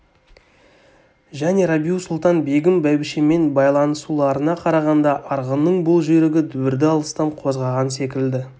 және рабиу-сұлтан-бегім бәйбішеммен байланысуларына қарағанда арғынның бұл жүйрігі дүбірді алыстан қозғаған секілді